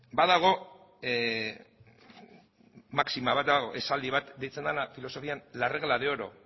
badago maxima bat esaldi bat deitzen dena filosofian la regla de oro